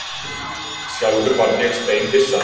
Sjálfur varð ég steinhissa